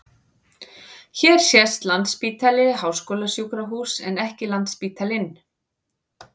Hér sést Landspítali- háskólasjúkrahús en ekki Landsspítalinn.